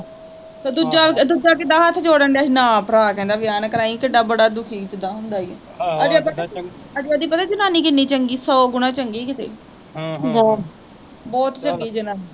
ਤੇ ਦੂਜਾ ਦੂਜਾ ਕਿੱਦਾਂ ਹੱਥ ਜੋੜਨ ਡਿਆ ਸੀ ਨਾ ਭਰਾ ਕਹਿੰਦਾ ਵਿਆਹ ਨਾ ਕਰਾਈ ਕਿੱਡਾ ਬੜਾ ਦੁਖੀ ਜਿਦਾਂ ਹੁੰਦਾ ਈ ਅਜੇ ਅਜੇ ਉਹਦੀ ਪਤਾ ਜਨਾਨੀ ਕਿੰਨੀ ਚੰਗੀ ਸੌ ਗੁਣਾਂ ਚੰਗੀ ਕਿਤੇ ਹਮ ਬਹੁਤ, ਬਹੁਤ ਚੰਗੀ ਜਨਾਨੀ